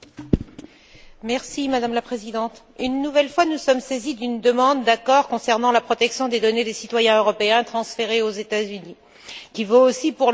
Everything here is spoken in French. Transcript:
Madame la Présidente, une nouvelle fois, nous sommes saisis d'une demande d'accord concernant la protection des données des citoyens européens transférées aux États Unis, qui vaut aussi pour le Canada et l'Australie.